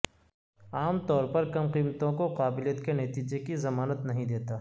عام طور پر کم قیمتوں کو قابلیت کے نتیجہ کی ضمانت نہیں دیتا